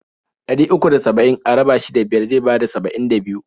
Ɗari uku da saba'in a raba shi da biyar zai bada saba'in da biyu.